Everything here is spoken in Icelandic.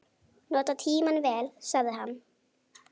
Nota tímann vel, sagði hann.